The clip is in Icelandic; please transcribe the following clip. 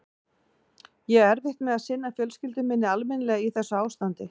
Ég á erfitt með að sinna fjölskyldu minni almennilega í þessu ástandi.